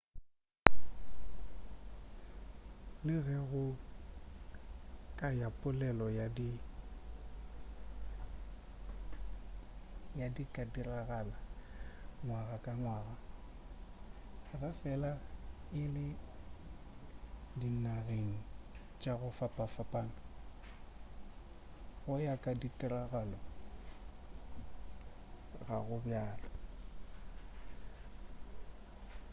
le ge go ya ka polelo di ka diragala ngwaga ka ngwaga ge fela e le dinageng tša go fapanafapana go ya ka ditiragalo ga go bjalo